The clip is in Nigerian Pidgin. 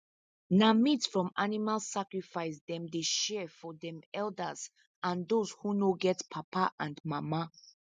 na meat from animal sacrifice them dey share for them elders and those who no get papa and mama